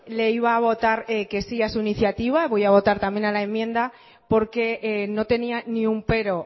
le iba a votar que sí a su iniciativa voy a votar también a la enmienda porque no tenía ni un pero